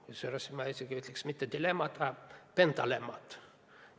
Kusjuures ma ütleksin, et tegemist pole mitte dilemma, vaid pentalemmaga.